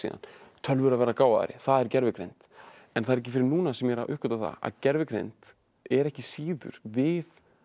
tölvur að verða gáfaðri það er gervigreind en það er ekki fyrr en núna sem ég er að uppgötva það að gervigreind er ekki síður við